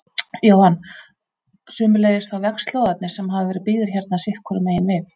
Jóhann: Sömuleiðis þá vegslóðarnir sem hafa verið byggðir hérna sitthvoru megin við?